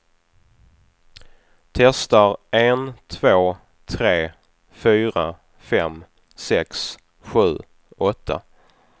Testar en två tre fyra fem sex sju åtta.